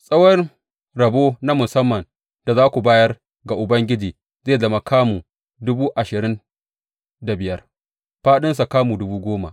Tsawon rabo na musamman da za ku bayar ga Ubangiji zai zama kamu dubu ashirin da biyar, fāɗinsa kuma kamu dubu goma.